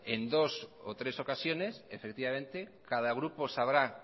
en dos o tres ocasiones efectivamente cada grupo sabrá